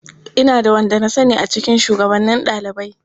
Ina da wanda na sani a cikin shugabannin ɗalibai.